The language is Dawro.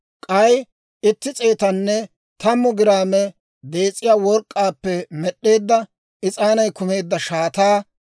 k'ay itti s'eetanne tammu giraame dees'iyaa work'k'aappe med'd'eedda, is'aanay kumeedda shaataa;